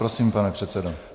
Prosím, pane předsedo.